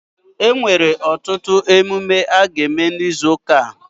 E nwere ọtụtụ emume a ga eme n'izu ụka a